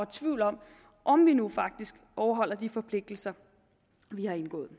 tvivl om om vi nu faktisk overholder de forpligtelser vi har indgået